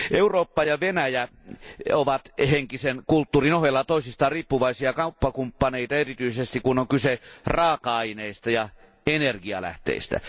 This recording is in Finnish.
Eurooppa ja Venäjä ovat henkisen kulttuurin ohella toisistaan riippuvaisia kauppakumppaneita erityisesti, kun on kyse raaka aineista ja energialähteistä.